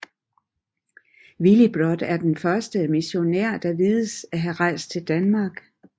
Willibrod er den første missionær der vides at have rejst til Danmark